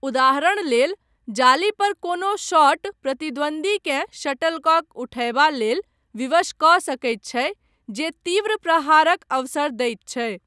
उदाहरण लेल जाली पर कोनो शॉट प्रतिद्वंद्वीकेँ शटलकॉक उठयबा लेल विवश कऽ सकैत छै जे तीव्र प्रहारक अवसर दैत छै।